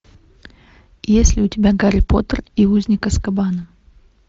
есть ли у тебя гарри поттер и узник азкабана